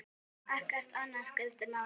Ekkert annað skiptir máli.